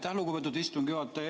Aitäh, lugupeetud istungi juhataja!